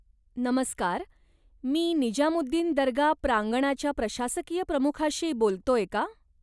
नमस्कार, मी निजामुद्दीन दर्गा प्रांगणाच्या प्रशासकीय प्रमुखाशी बोलतोय का?